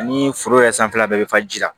Ani foro yɛrɛ sanfɛla bɛɛ bɛ fa ji la